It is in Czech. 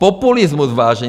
Populismus, vážení.